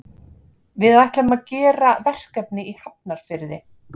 Við ætlum að gera verkefni í Hafnarfirði.